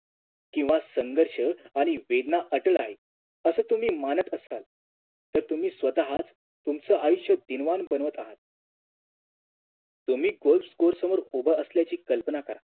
किव्हा संघर्ष आणि वेदना अटळ आहे असं तुम्ही मानत असाल तर तुम्ही स्वतःच तुमचं आयुष्य दीनवाण बनावत आहात तुम्ही Golf course समोर उभं असल्याची कल्पना करा